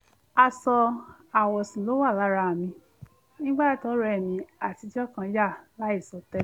aṣọ àwọ̀sùn ni ó wà lára mi nígbà tí ọ̀rẹ́ mi àtijọ́ kan yà láìsọ tẹ́lẹ̀